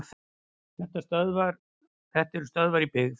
Þetta eru stöðvar í byggð.